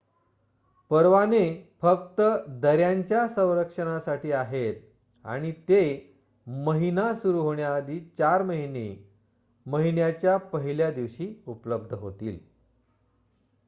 परवाने फक्त दऱ्यांच्या संरक्षणासाठी आहेत आणि ते महिना सुरू होण्याआधी चार महिने महिन्याच्या १ल्या दिवशी उपलब्ध होतील